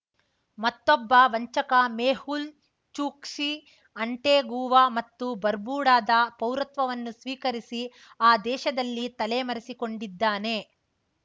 ಮತ್ತೊಬ್ಬ ವಂಚಕ ಮೆಹುಲ್ ಚೂಕ್ಸಿ ಆಂಟೇಗುವಾ ಮತ್ತು ಬರ್ಬುಡಾದ ಪೌರತ್ವವನ್ನು ಸ್ವೀಕರಿಸಿ ಆ ದೇಶದಲ್ಲಿ ತಲೆಮರೆಸಿಕೊಂಡಿದ್ದಾನೆ